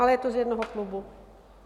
Ale je to z jednoho klubu.